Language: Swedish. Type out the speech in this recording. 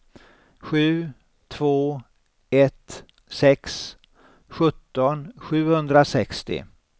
sju två ett sex sjutton sjuhundrasextio